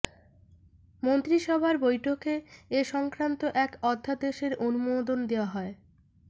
মন্ত্রিসভার বৈঠকে এ সংক্রান্ত এক অধ্যাদেশের অনুমোদন দেওয়া হয়